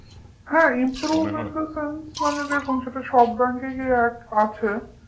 হ্যাঁ improve in the sense মানে দেখুন সেটা সব bank রই আছে